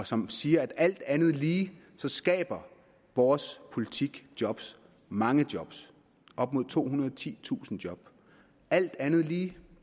som siger at alt andet lige skaber vores politik job mange job op mod tohundrede og titusind job alt andet lige